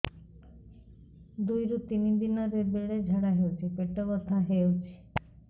ଦୁଇରୁ ତିନି ଦିନରେ ବେଳେ ଝାଡ଼ା ହେଉଛି ପେଟ ବଥା ହେଉଛି